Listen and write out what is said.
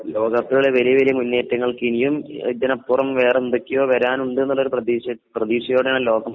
ലോക കപ്പിലെ വലിയ വലിയ മുന്നേറ്റങ്ങൾക്ക് ഇനിയും ഇതിനപ്പുറം വേറെ എന്തൊക്കെയോ വരാനുണ്ടെന്നു ഉള്ള പ്രതീക്ഷയിലാണ് ലോകം